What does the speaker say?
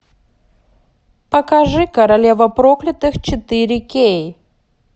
покажи королева проклятых четыре кей